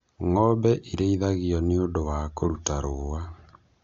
Ng'ombe irĩithagio nĩ ũndũ wa kũruta rũũa